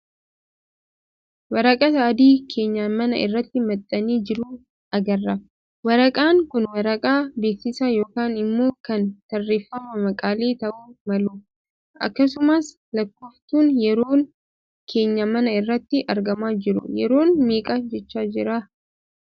Waraqata adii keenyan manaa irratti maxxanee jiru agarra. Waraqaan kun waraqaa beeksisaa ykn immpo kan tarreeffama maqaalee tahu malu. Akkasumas lakkooftuun yeroo keenyaan manaa irratti argamaa jira. Yeroon meeqa jechaa jiraa?